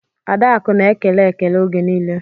Adaku na ekele ekele oge nile.